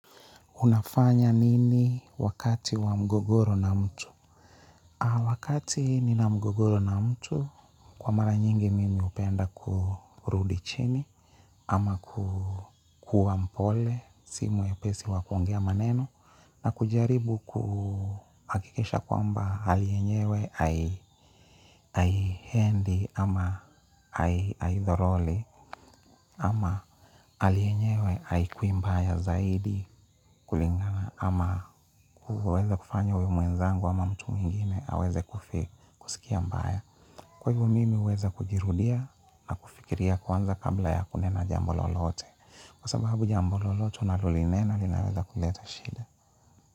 Unafanya nini wakati wa mgogoro na mtu? Wakati nina mgogoro na mtu, kwa mara nyingi mimi hupenda kurudi chini ama kuwa mpole simu mwepesi wa kuongea maneno na kujaribu kuhakikisha kwamba hali yenyewe haiendi ama haithoroli ama hali yenyewe haikuwi mbaya zaidi kulingana ama kuweza kufanya uwe mwenzangu ama mtu mwingine aweze kufi sikia mbaya. Kwa hivo mimi huweza kujirudia na kufikiria kwanza kabla ya kunena jambo lolote kwa sababu jambo lolote unalolinena linaweza kuleta shida.